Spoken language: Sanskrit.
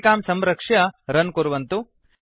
सञ्चिकां संरक्ष्य रन् कुर्वन्तु